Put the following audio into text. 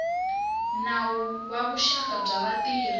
nawu wa vuxaka bya vatirhi